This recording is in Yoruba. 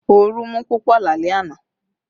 Ooru mú púpọ̀ lálẹ́ àná